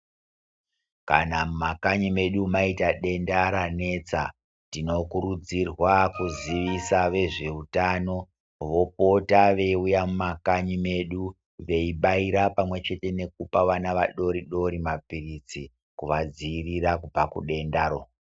Kana mumakanyi medu maita denda ranetsa tinokurudzirwa kuziisa vezveitano vopota veiuya mumakanyi medu. Veibaira pamwe chete nekupa vana vadori-dori maphiritsi kuvadzirira kubva kudendaro.